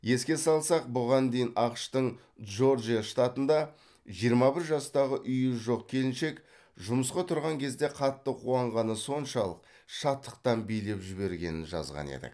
еске салсақ бұған дейін ақш тың джорджия штатында жиырма бір жастағы үйі жоқ келіншек жұмысқа тұрған кезде қатты қуанғаны соншалық шаттықтан билеп жібергенін жазған едік